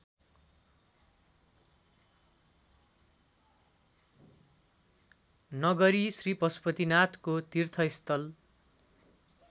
नगरी श्रीपशुपतिनाथको तीर्थस्थल